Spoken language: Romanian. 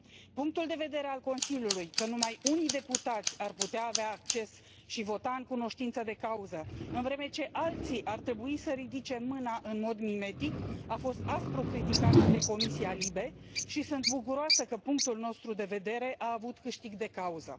Punctul de vedere al Consiliului, că numai unii deputați ar putea avea acces și vota în cunoștință de cauză, în vreme ce alții ar trebui să ridice mâna în mod mimetic, a fost aspru criticat de Comisia LIBE și sunt bucuroasă că punctul nostru de vedere a avut câștig de cauză.